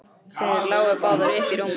Þær lágu báðar uppí rúminu þeirra.